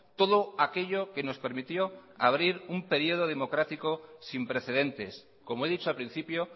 todo aquello que nos permitió abrir un periodo democrático sin precedentes como he dicho al principio